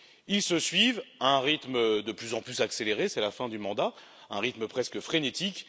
Ils se suivent à un rythme de plus en plus accéléré, c'est la fin du mandat, un rythme presque frénétique.